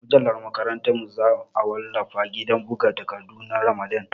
Mujallar makarantar mu za a wallafa a gidan buga takardu na Ramadan